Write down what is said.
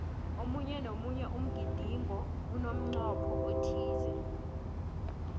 omunye nomunye umgidingo unemncopho othize